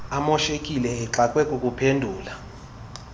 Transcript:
emashekile exakwe kukuphendula